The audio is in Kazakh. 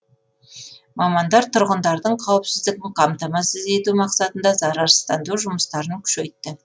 мамандар тұрғындардың қауіпсіздігін қамтамасыз ету мақсатында зарарсыздандыру жұмыстарын күшейтті